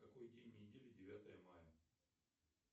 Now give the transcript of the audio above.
какой день недели девятое мая